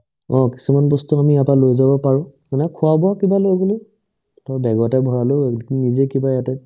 অ, কিছুমান বস্তু আমি ইয়াৰ পৰা লৈ যাব পাৰো ধৰা খোৱা-বোৱা কিবা লৈ গ'লো ধৰা বেগো এটাত ভৰাই ল'লো নিজৰ কিবা এটা